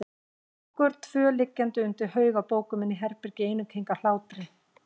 Okkur tvö liggjandi undir haug af bókum inni í herbergi í einum keng af hlátri.